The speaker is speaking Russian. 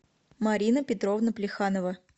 марина петровна плеханова